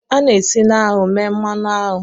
A na-esi na aṅụ mee mmanụ aṅụ